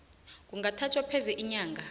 kungathatha pheze iinyanga